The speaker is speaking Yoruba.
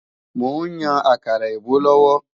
Mò ń yan àkàrà èbó lọ́wọ́